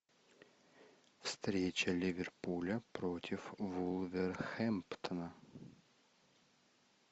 встреча ливерпуля против вулверхэмптона